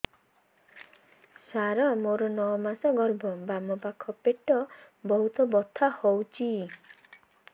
ସାର ମୋର ନଅ ମାସ ଗର୍ଭ ବାମପାଖ ପେଟ ବହୁତ ବଥା ହଉଚି